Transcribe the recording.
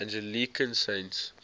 anglican saints